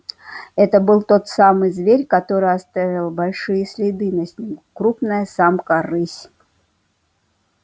это был тот самый зверь который оставил большие следы на снегу крупная самка рысь